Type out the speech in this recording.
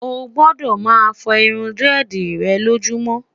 o gbọdọ má fo irún diredi rè lojumo'